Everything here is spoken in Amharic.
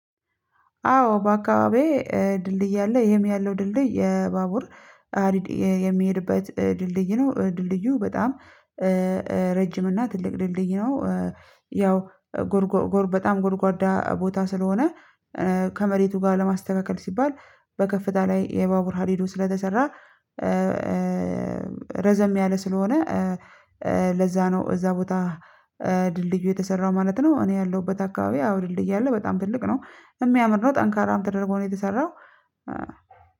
አዎ በአካባቢዬ ድልድይ አለ ይህም ያለው ድልድይ የባቡር ሀዲድ የሚሄድበት ድልድይ ነው ድልድዩ በጣም ረጅም እና ትልቅ ድልድይ ነው። ያው ጎርጎር በጣም ጎርጓዳ ቦታ ስለሆነ ከመሬቱ ጋር ለማስተካከል ሲባል በከፍታ ላይ የባቡር ሀዲዱ ስለተሰራ ረዘም ያለ ስለሆነ ለዛ ነው እዛ ቦታ ድልድዩ የተሰራው ማለት ነው። እኔ ያለሁበት አካባቢ አዎ ድልድይ አለ በጣም ትልቅ ነው የሚያምር ነው ጠንካራ ተደርጎ ነው። የተሰራው